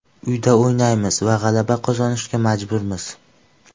Uyda o‘ynaymiz va g‘alaba qozonishga majburmiz.